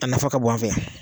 A nafa ka bon an fɛ yan